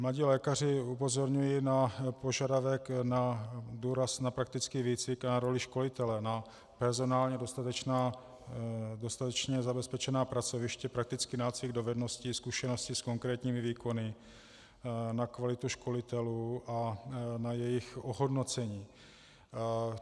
Mladí lékaři upozorňují na požadavek na důraz na praktický výcvik a na roli školitele, na personálně dostatečně zabezpečená pracoviště, praktický nácvik dovedností, zkušenosti s konkrétními výkony, na kvalitu školitelů a na jejich ohodnocení.